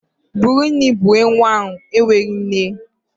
Bụrụ nri a bunye nwa ahụ enweghị nne!